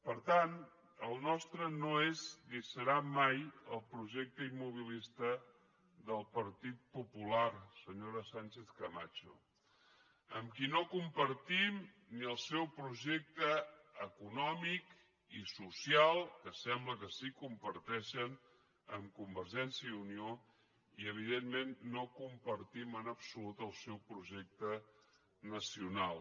per tant el nostre no és ni serà mai el projecte immobilista del partit popular senyora sánchez camacho amb qui no compartim ni el seu projecte econòmic ni el social que sembla que sí que comparteixen amb convergència i unió i evidentment no compartim en absolut el seu projecte nacional